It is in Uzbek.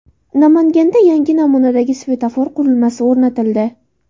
Namanganda yangi namunadagi svetofor qurilmasi o‘rnatildi .